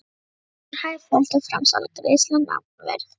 Hlutir fjárhæð fjöldi framsal greiðsla nafnverð